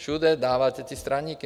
Všude dáváte ty straníky.